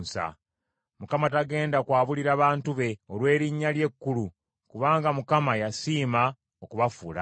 Mukama tagenda kwabulira bantu be, olw’erinnya lye ekkulu, kubanga Mukama yasiima okubafuula ababe.